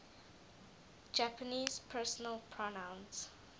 japanese personal pronouns